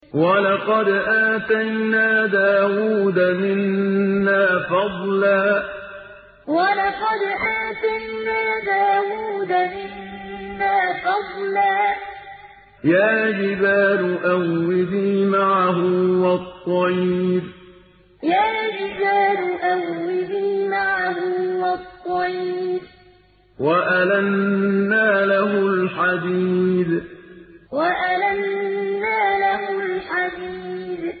۞ وَلَقَدْ آتَيْنَا دَاوُودَ مِنَّا فَضْلًا ۖ يَا جِبَالُ أَوِّبِي مَعَهُ وَالطَّيْرَ ۖ وَأَلَنَّا لَهُ الْحَدِيدَ ۞ وَلَقَدْ آتَيْنَا دَاوُودَ مِنَّا فَضْلًا ۖ يَا جِبَالُ أَوِّبِي مَعَهُ وَالطَّيْرَ ۖ وَأَلَنَّا لَهُ الْحَدِيدَ